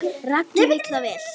Raggi vill það alveg.